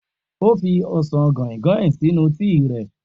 O fi osan guinguin sinu tii rẹ.